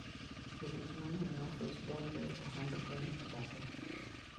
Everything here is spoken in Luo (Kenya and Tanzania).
jotich mangeny maofis donje ohand gwen e bathe.